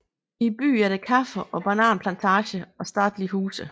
I byen er der kaffe og bananplantager og statelige huse